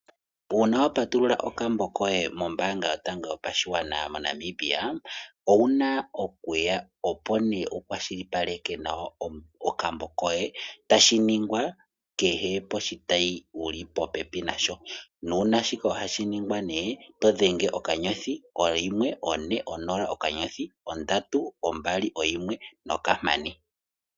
Uuna wa patulula okmbo koye mombanga yotango yopashigwana moNamibia owuna okuya opo wu kwashilipaleke nawa okambo koye tashi ningwa kehe poshitayi wuli popepi nasho, naashika ohashi ningwa todhenge okanyothi onola oyimwe one okanyothi ondatu ombali oyimwe nokamane.